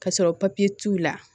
Ka sɔrɔ t'u la